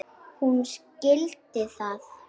Hún skildi það.